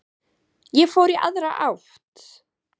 Ég fór í aðra átt.